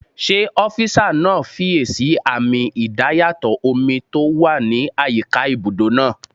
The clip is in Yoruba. Ṣé ọ́físà náà fiyèsí àmì idayàtọ̀ omi tó wà ní àyíká ibùdó náà?